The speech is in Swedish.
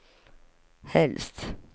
helst